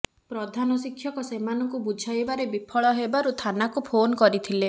ପ୍ରଧାନ ଶିକ୍ଷକ ସେମାନଙ୍କୁ ବୁଝାଇବାରେ ବିଫଳ ହେବାରୁ ଥାନାକୁ ଫୋନ୍ କରିଥିଲେ